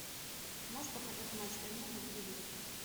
можешь показать матч премьер на телевизоре